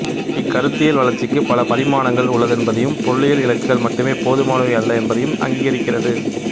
இக்கருத்தியல் வளர்ச்சிக்குப் பல பரிமாணங்கள் உள்ளதென்பதையும் பொருளியல் இலக்குகள் மட்டுமே போதுமானவை அல்ல என்பதையும் அங்கீகரிக்கிறது